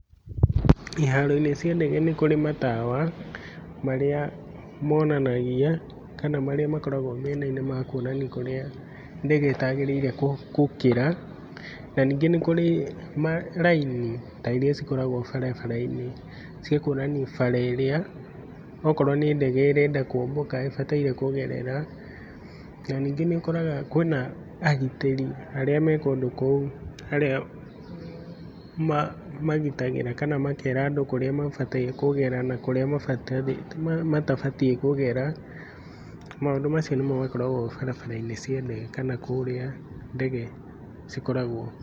Iharo-inĩ cia ndege nĩ kũrĩ matawa, marĩa monanagia kana marĩa makoragwo mĩena-inĩ makuonania kũrĩa ndege itagĩrĩirwo gũkĩra, na ningĩ nĩ kũrĩ ma raini ta iria cikoragwo barabara-inĩ cia kuonania bara ĩrĩa okorwo nĩ ndege ĩrenda kũmbũka ĩbataire kũgerera, na ningĩ nĩ ũkoraga kwĩna agitĩri arĩa me kũndũ kũu arĩa ma magitagĩra kana makera andũ kũrĩa mabataire kũgera na kũrĩa matabatie kũgera, maũndũ macio nĩmo makoragwo barabara-inĩ cia ndege kana kũrĩa ndege cikoragwo.